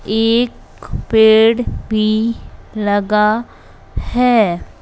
एक पेड़ भी लगा है।